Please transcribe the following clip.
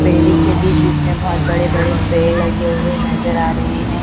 Building के बीच बीच में बहोत बड़े बड़े पेड़ लगे हुए नजर आ रहे हैं।